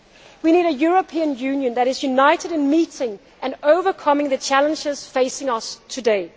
We need a European Union that is united in meeting and overcoming the challenges facing us